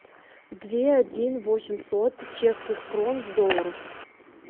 две один восемьсот чешских крон в долларах